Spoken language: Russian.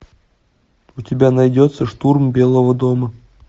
у тебя найдется штурм белого дома